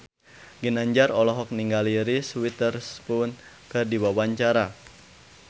Ginanjar olohok ningali Reese Witherspoon keur diwawancara